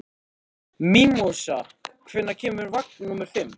Mímósa, hvenær kemur vagn númer fimm?